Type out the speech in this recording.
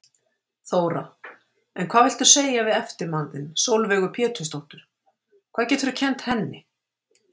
Þóra: En hvað viltu segja við eftirmann þinn, Sólveigu Pétursdóttur, hvað geturðu kennt henni?